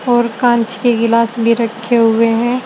और कांच के गिलास भी रखे हुए हैं।